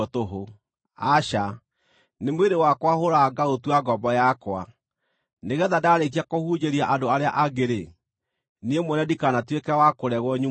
Aca, nĩ mwĩrĩ wakwa hũũraga ngaũtua ngombo yakwa, nĩgeetha ndaarĩkia kũhunjĩria andũ arĩa angĩ-rĩ, niĩ mwene ndikanatuĩke wa kũregwo nyimwo kĩheo.